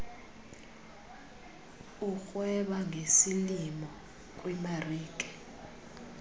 urhweba ngesilimo kwimarike